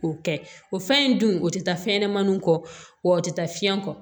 O kɛ o fɛn in dun o tɛ taa fɛnɲɛnɛmaninw kɔ o tɛ taa fiɲɛ kɔ